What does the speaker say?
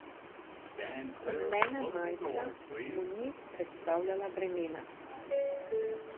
Rumena majica mu ni predstavljala bremena.